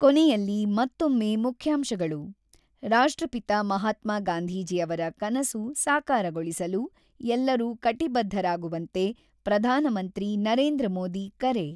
ಕೊನೆಯಲ್ಲಿ ಮತ್ತೊಮ್ಮೆ ಮುಖ್ಯಾಂಶಗಳು ರಾಷ್ಟ್ರಪಿತ ಮಹಾತ್ಮಾ ಗಾಂಧೀಜಿಯವರ ಕನಸು ಸಾಕಾರಗೊಳಿಸಲು ಎಲ್ಲರೂ ಕಟಿಬದ್ದರಾಗುವಂತೆ ಪ್ರಧಾನಮಂತ್ರಿ ನರೇಂದ್ರ ಮೋದಿ ಕರೆ.